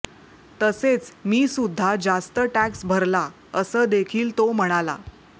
तसेच मी सुद्धा जास्त टॅक्स भरला असं देखील तो म्हणाला